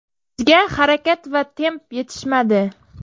Bizga harakat va temp yetishmadi.